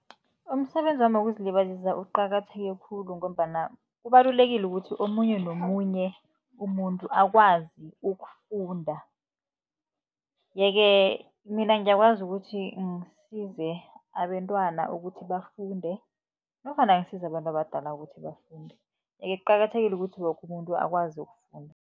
Umsebenzi wami wokuzilibazisa uqakatheke khulu, ngombana kubalulekile ukuthi omunye nomunye umuntu akwazi ukufunda. Ye-ke mina ngiyakwazi ukuthi ngisize abentwana, ukuthi bafunde nofana ngisize abantu abadala ukuthi bafunde. Ye-ke kuqakathekile ukuthi woke umuntu akwazi ukufunda.